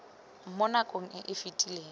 mo nakong e e fetileng